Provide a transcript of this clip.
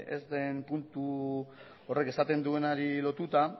ez den puntu horrek esaten duenari lotuta